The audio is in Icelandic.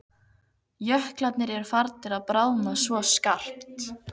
Jöklarnir eru farnir að bráðna svo skarpt.